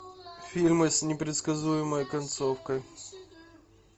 фильмы с непредсказуемой концовкой